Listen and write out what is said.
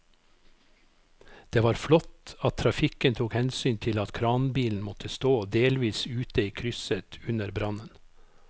Det var flott at trafikken tok hensyn til at kranbilen måtte stå delvis ute i krysset under brannen.